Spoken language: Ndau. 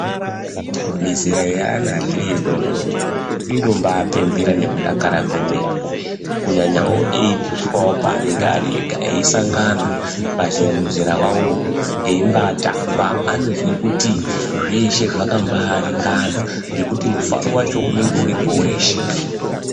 Mizera yaana achiri adodori, inombapembera nekudakara kwemene, kunyanyao echiiswawo paanenge ari ega. Eisangana pamuzera wavowo eimbatamba, anozwe kuti zveshe zvakambaringana, ngekuti mufaro wacho unenge uripo weshe.